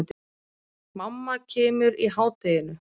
Mamma kemur í hádeginu.